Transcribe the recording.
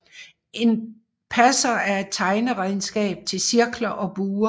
En passer er et tegneredskab til cirkler og buer